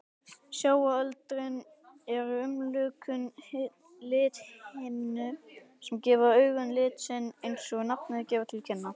Sjáöldrin eru umlukin lithimnu sem gefur augunum lit sinn, eins og nafnið gefur til kynna.